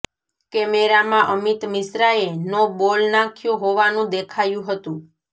કેમેરામાં અમિત મિશ્રાએ no ball નાખ્યો હોવાનું દેખાયું હતું